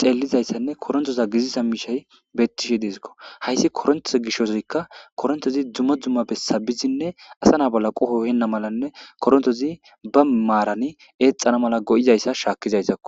xeelizayssanne korinteza giddida miishshay beetishe de7esikko.hayssi korenteza gishawukka korintezi dumma dumma bessa bizine asa na7a bolla qoho ehena malanne korintezi ba maaran eexana mala go7izayssa shaakizayissakko.